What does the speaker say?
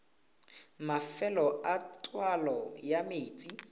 mafelo a taolo ya metsi